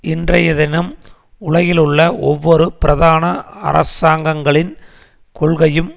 இன்றைய தினம் உலகிலுள்ள ஒவ்வொரு பிரதான அரசாங்கங்களின் கொள்கையும்